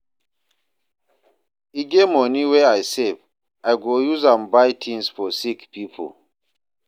E get moni wey I save, I go use am buy tins for sick pipo.